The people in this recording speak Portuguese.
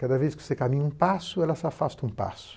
Cada vez que você caminha um passo, ela se afasta um passo.